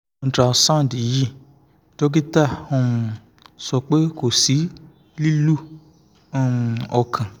ultrasound yii dokita um sọ pe ko si lilu um ọkan